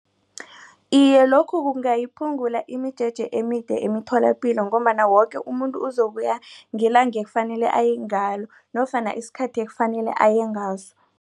Iye, lokhu kungayiphungula imijeje emide emitholapilo ngombana woke umuntu uzokuya ngelanga ekufanele ayengalo nofana isikhathi ekufanele ayengaso.